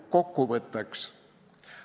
Kokkuvõtteks.